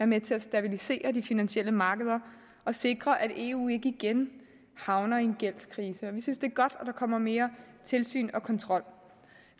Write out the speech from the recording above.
med til at stabilisere de finansielle markeder og sikre at eu ikke igen havner i en gældskrise vi synes det er godt at der kommer mere tilsyn og kontrol